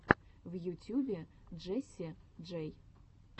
в ютьюбе джесси джей